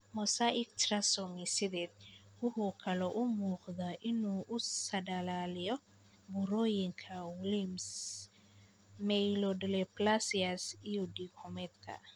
Mosaic trisomy sided wuxuu kaloo u muuqdaa inuu u saadaaliyo burooyinka Wilms, myelodysplasias, iyo diig xumedka.